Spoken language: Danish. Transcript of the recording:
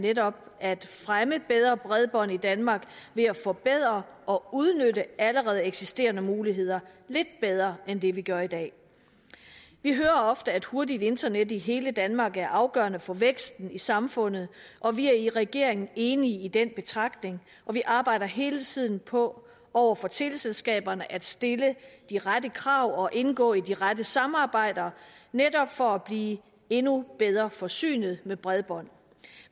netop at fremme bedre bredbånd i danmark ved at forbedre og udnytte allerede eksisterende muligheder lidt bedre end det vi gør i dag vi hører ofte at hurtigt internet i hele danmark er afgørende for væksten i samfundet og vi er i regeringen enige i den betragtning og vi arbejder hele tiden på over for teleselskaberne at stille de rette krav og indgå i de rette samarbejder netop for at blive endnu bedre forsynet med bredbånd